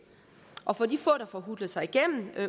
og for de få der får hutlet sig igennem